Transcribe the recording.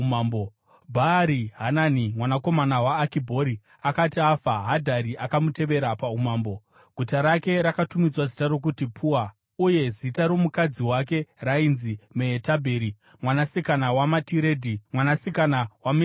Bhaari-Hanani mwanakomana waAkibhori akati afa, Hadhadhi akamutevera paumambo. Guta rake rakatumidzwa zita rokuti Pua, uye zita romukadzi wake rainzi Mehetabheri mwanasikana waMatiredhi, mwanasikana waMe-Zahabhi.